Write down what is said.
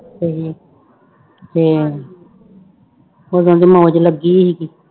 ਤੇ ਉਦੋਂ ਵੀ ਮੌਜ ਲੱਗੀ ਸੀਗੀ।